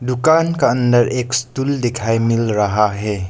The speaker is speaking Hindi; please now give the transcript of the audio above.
दुकान का अंदर एक स्टूल दिखाई मिल रहा है।